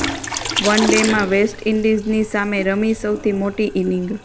one ડેમાં west ઈન્ડિઝની સામે રમી સૌથી મોટી ઈનિંગ